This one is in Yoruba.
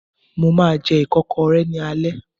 Mo máa jẹ ìkọ́kọrẹ́ ní alẹ́